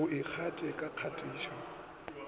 o e tlatše ka kgatišo